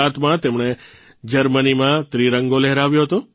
૧૯૦૭માં તેમણે જર્મનીમાં ત્રિરંગો લહેરાવ્યો હતો